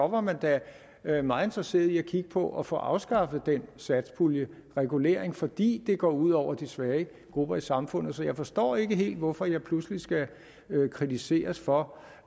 var man da meget interesseret i at kigge på at få afskaffet den satspuljeregulering fordi det går ud over de svage grupper i samfundet så jeg forstår ikke helt hvorfor jeg pludselig skal kritiseres for